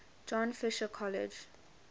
john fisher college